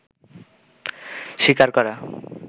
স্বীকার করা